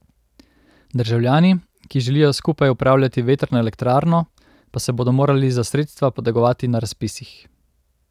Državljani, ki želijo skupaj upravljati vetrno elektrarno, pa se bodo morali za sredstva potegovati na razpisih.